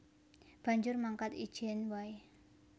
Banjur mangkat ijèn waé